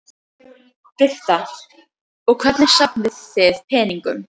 Birta: Og hvernig safnið þið peningum?